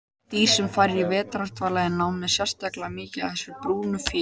Dýr sem fara í vetrardvala eru með sérstaklega mikið af þessari brúnu fitu.